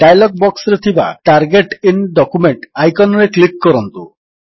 dialog ବକ୍ସରେ ଥିବା target IN document icon ରେ କ୍ଲିକ୍ କରନ୍ତୁ